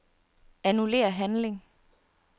Annullér handling.